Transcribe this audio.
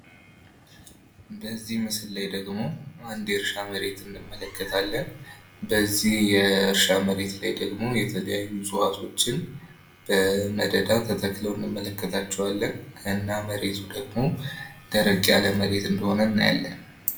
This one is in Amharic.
በዚህ ምስል ላይ ደግሞ አንድ የእርሻ መሬት እንመለከታለን በዚህ የእርሻ መሬት ላይ ደግሞ የተለያዩ እፅዋቶችን በመደዳ ተተክለው እንመለከታቸዋለን እና መሬቱ ደግሞ ደረቅ ያለ መሬት እንደሆነ እናያለን።